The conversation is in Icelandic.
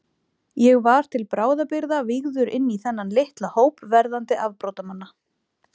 Ég var til bráðabirgða vígður inní þennan litla hóp verðandi afbrotamanna.